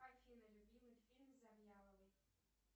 афина любимый фильм завьяловой